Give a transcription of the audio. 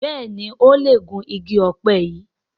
Béèni o lẹ Gún ìgi òpe yí.